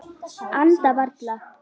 Anda varla.